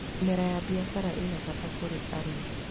Mĩmera ya mbiacara ĩna baita kũrĩ arĩmi.